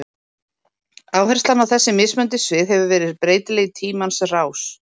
Áherslan á þessi mismunandi svið hefur verið breytileg í tímans rás.